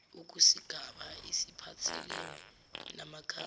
kusigaba esiphathelene namakhadi